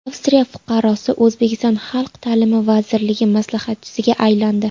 Avstriya fuqarosi O‘zbekiston Xalq ta’limi vazirligi maslahatchisiga aylandi.